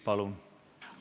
Palun!